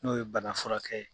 N'o ye bana furakɛ ye